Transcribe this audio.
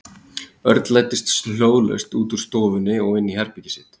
Örn læddist hljóðlaust út úr stofunni og inn í herbergið sitt.